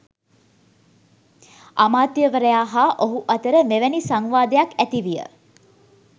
අමාත්‍යවරයා හා ඔහු අතර මෙවැනි සංවාදයක් ඇති විය.